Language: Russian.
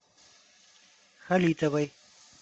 халитовой